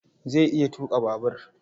Zai iya tuƙa babur.